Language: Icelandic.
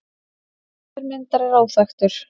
Höfundur myndar er óþekktur.